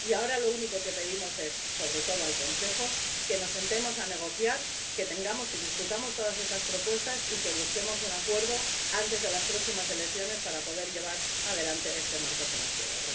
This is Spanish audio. Y ahora lo único que pedimos es —sobre todo al Consejo-que nos sentemos a negociar, que discutamos todas estas propuestas y que busquemos un acuerdo antes de las próximas elecciones para poder llevar adelante este marco financiero.